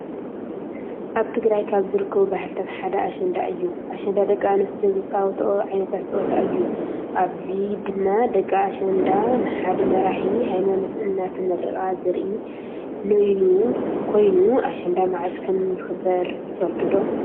አብ ትግራይ ካብ ዝርከቡ ባህልታት ሓደ አሽንዳ እዩ። አሸንዳ ደቂ አንስትዮ ዝፃወቶኦ ዓይነት ፀወታ እዩ። አብዚ ድማ ደቂ አሸንዳ ንሓደ መሪሒ ሃይማኖት እናተመረቃ ዘሪኢ ኖይኑ እዩ። አሽንዳ መዓዝ ከም ዝክበር ትፈልጡ ዶ?